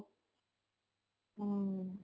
ହଁ